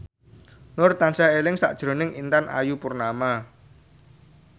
Nur tansah eling sakjroning Intan Ayu Purnama